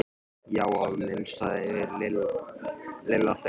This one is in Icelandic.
Já afi minn sagði Lilla fegin.